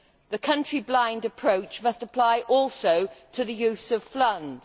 The country blind approach must apply also to the use of funds.